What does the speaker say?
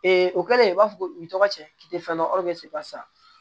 o kɛlen i b'a fɔ u bi tɔgɔ cɛ k'i te fɛn dɔ pasi